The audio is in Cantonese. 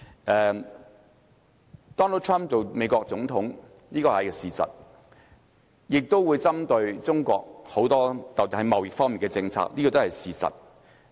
Donald TRUMP 成為美國總統，這個是事實，他亦會重點針對中國，特別是在貿易政策方面，這個也是事實。